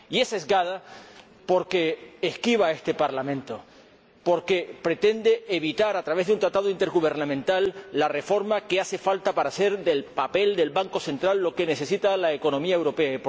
Y es sesgada, porque esquiva a este Parlamento, porque pretende evitar, a través de un Tratado intergubernamental, la reforma que hace falta para hacer del Banco Central Europeo lo que necesita la economía europea.